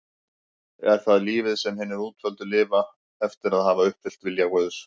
Er það lífið sem hinir útvöldu lifa eftir að hafa uppfyllt vilja Guðs?